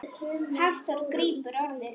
Hafþór grípur orðið.